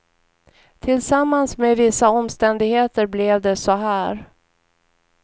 Tillsammans med vissa omständigheter blev det så här.